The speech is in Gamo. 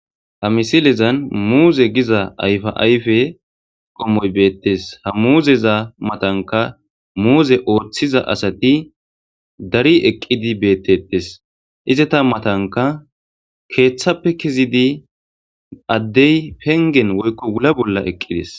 Ha misilezan muze giza ayipa ayipey qommoy betes ha muzeta matanika muze othida asati dari eqi betes izata matanika kethape kezidi adey penigen woyiko wula bolla eqis